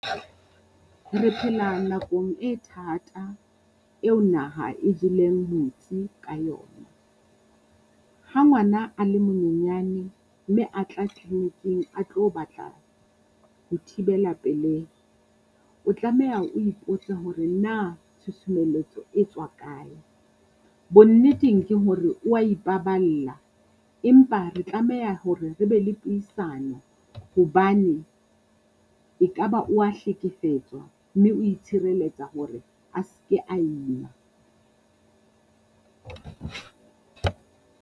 Re phela nakong e thata eo naha e jeleng metsi ka yona. Ha ngwana a le monyenyane mme a tla tleleniking a tlo batla ho thibela pelehi. O tlameha o ipotse hore na tshusumelletso e tswa kae. Bonneteng ke hore o wa ipaballa, empa re tlameha hore re be le puisano hobane e ka ba o wa hlekefetswa mme o tshireletsa hore a se ke ima.